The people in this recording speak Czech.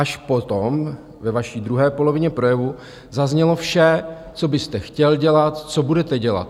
Až potom, ve vaší druhé polovině projevu, zaznělo vše, co byste chtěl dělat, co budete dělat.